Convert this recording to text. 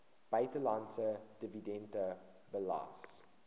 buitelandse dividende belas